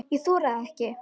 Ég þori það ekki.